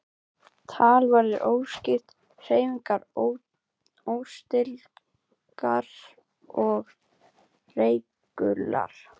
Tal verður óskýrt, hreyfingar óstyrkar og reikular.